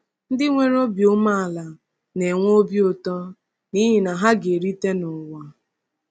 Ndị nwere obi umeala na-enwe obi ụtọ n’ihi na “ha ga-erite n’ụwa.”